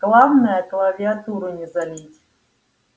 главное клавиатуру не залить